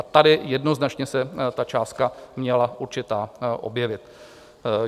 A tady jednoznačně se ta částka měla určitá objevit.